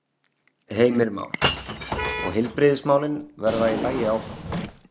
Heimir Már: Og heilbrigðismálin verða í lagi áfram?